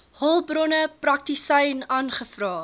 hulpbronne praktisyn aangevra